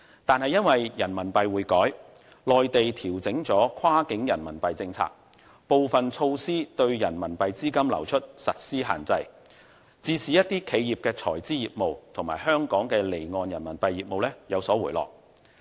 但是，因為人民幣匯改，內地調整了跨境人民幣政策，部分措施對人民幣資金流出實施限制，致使企業財資業務及香港離岸人民幣業務有所回落。